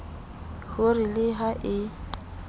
ho re le ha e